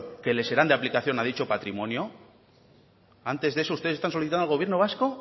que le serán de aplicación a dicho patrimonio antes de eso ustedes están solicitando al gobierno vasco